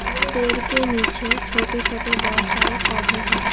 पेड़ के नीचे छोटे छोटे बहुत सारे पौधे हैं।